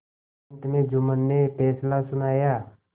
अंत में जुम्मन ने फैसला सुनाया